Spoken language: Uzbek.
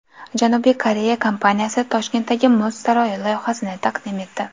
Janubiy Koreya kompaniyasi Toshkentdagi muz saroyi loyihasini taqdim etdi .